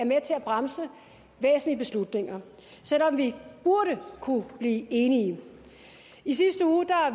bremse væsentlige beslutninger selv om vi burde kunne blive enige i sidste uge